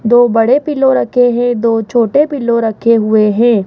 दो बड़े पिलो रखे हैं। दो छोटे पिलो रखे हुए हैं।